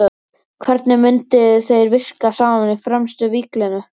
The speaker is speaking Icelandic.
Hvernig myndu þeir virka saman í fremstu víglínu?